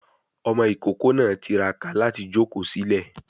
Ọmọ ìkókó náà tiraka láti jòkó sílẹ̀